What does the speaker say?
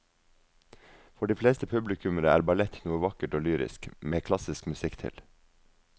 For de fleste publikummere er ballett noe vakkert og lyrisk med klassisk musikk til.